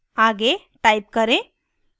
आगे type करें: